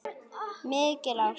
Mikil ást.